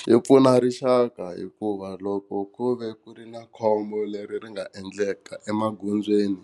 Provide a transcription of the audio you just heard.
Xi pfuna rixaka hikuva loko ku ve ku ri na khombo leri ri nga endleka emagondzweni